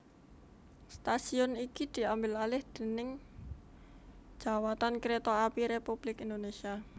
Stasiun iki diambil alih déning Djawatan Kereta Api Republik Indonesia